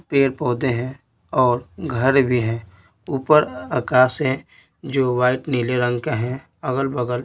पेड़-पौधे हैं और घर भी हैं और आकाश है जो वाइट नीले रंग का है अगल-बगल--